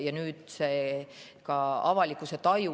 Ja nüüd on see ka avalikkuse taju.